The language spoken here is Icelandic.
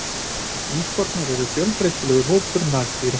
Íkornar eru fjölbreytilegur hópur nagdýra.